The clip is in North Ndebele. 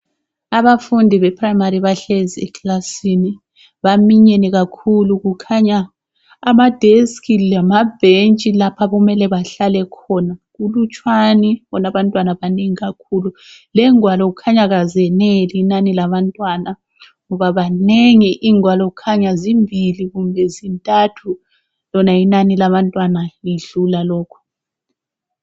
Abafundi be-primary bahlezi eklasini. Baminyene kakhulu. Kukhanya ama- desk lamabhentshi lapho okumele bahlale khona kulutshwani bona abantwana banengi kakhulu. Lengwalo kukhanya azeneli inani labantwana ngoba banengi ingwalo kukhanya zimbili kumbe zintathu lona inani labantwana lidlula lokhu.